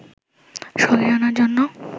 সরিয়ে আনার জন্য